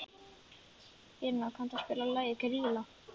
Írena, kanntu að spila lagið „Grýla“?